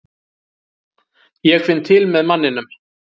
Ég finn til með manninum.